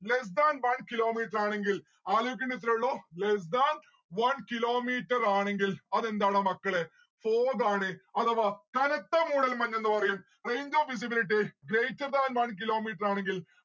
less than one kilo metre ആണെങ്കിൽ ആലോയിക്കേണ്ടേ ഇത്രേ ഉള്ളു less than one kilo metre ആണെങ്കിൽ അതെന്താടാ മക്കളെ fog ആണ്. അഥവാ കനത്ത മൂടൽമഞ്ഞെന്ന് പറയും. range of visibilit greater than one kilo metre ആണെങ്കിൽ